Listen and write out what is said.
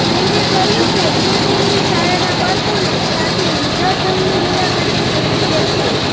તેમણે કહ્યું કે એ તેમની શાળાનાં બાળકોને સાથે વૃદ્ધાશ્રમની મુલાકાતે પહોંચ્યાં છે